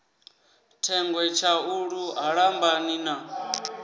thengwe tshaulu ha lambani na